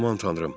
Aman tanrım!